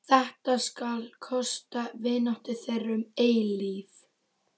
Þetta skal kosta vináttu þeirra um eilífð.